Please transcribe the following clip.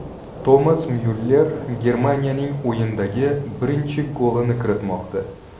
Tomas Myuller Germaniyaning o‘yindagi birinchi golini kiritmoqda.